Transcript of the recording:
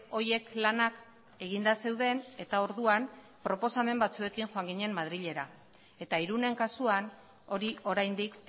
horiek lanak eginda zeuden eta orduan proposamen batzuekin joan ginen madrilera eta irunen kasuan hori oraindik